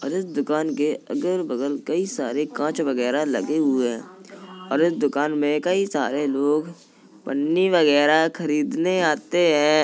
और इस दुकान के अगर बगल कई सारे कांच वगैरा लगे हुए हैं और इस दुकान में कई सारे लोग पन्नी वगैरा खरीदने आते हैं।